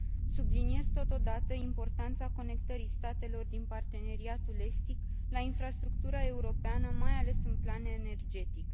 Subliniez totodată importanța conectării statelor din parteneriatul estic la infrastructura europeană, mai ales pe plan energetic.